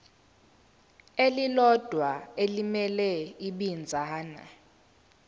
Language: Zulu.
elilodwa elimele ibinzana